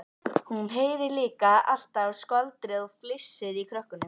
Hún heyrir líka alltaf skvaldrið og flissið í krökkunum.